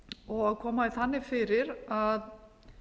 og koma því þannig fyrir að